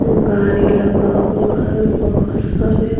गाड़ी लगा हुआ है बहुत सारे।